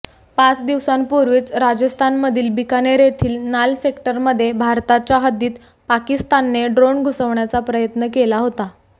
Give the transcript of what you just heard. पाच दिवसांपूर्वीच राजस्थानमधील बिकानेर येथील नाल सेक्टरमध्ये भारताच्या हद्दीत पाकिस्तानने ड्रोन घुसवण्याचा प्रयत्न केला होता